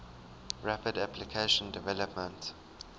rapid application development